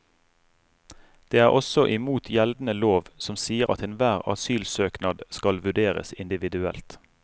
Det er også imot gjeldende lov, som sier at enhver asylsøknad skal vurderes individuelt.